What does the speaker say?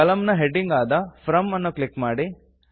ಕಲಮ್ ನ ಹೆಡ್ಡಿಂಗ್ ಆದ ಫ್ರಾಮ್ ಅನ್ನು ಕ್ಲಿಕ್ ಮಾಡಿ